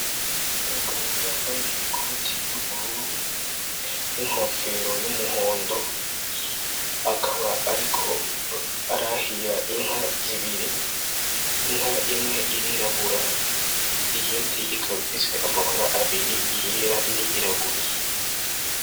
Umugabo yambaye ikoti ryubururu ninkofero yumuhondo akaba ariko arahirira inka zibiri, inka imwe irirabura iyindi ikaba ifise amabara abiri iryera niryirabura.